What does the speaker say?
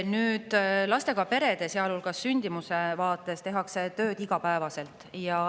Nüüd, lastega perede, sealhulgas sündimuse vaates tehakse tööd iga päev.